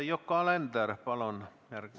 Yoko Alender, palun!